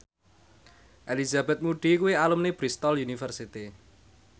Elizabeth Moody kuwi alumni Bristol university